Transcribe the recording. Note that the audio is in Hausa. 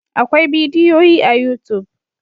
Akwai bidiyoyi a youtube.